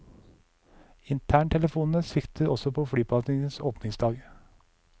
Interntelefonene sviktet også på flyplassens åpningsdag.